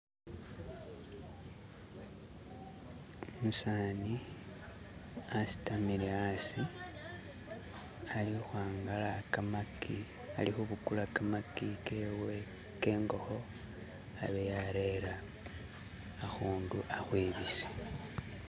umusani asitamile asi ali uhwangala kamaki, alihubukula kamaki kewe kengoho abe yarera ahundu ahwibise